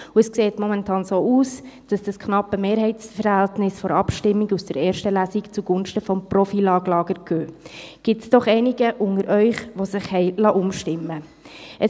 Momentan sieht es so aus, als ob das knappe Mehrheitsverhältnis von der Abstimmung der ersten Lesung zugunsten des Pro-FILAG-Lagers ginge, gibt es doch einige unter Ihnen, die sich umstimmen liessen.